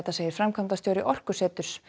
segir framkvæmdastjóri Orkuseturs